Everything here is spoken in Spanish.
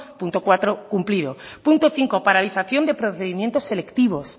punto cuatro cumplido punto cinco paralización de procedimientos selectivos